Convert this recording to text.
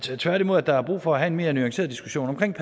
jeg tværtimod at der er brug for at have en mere nuanceret diskussion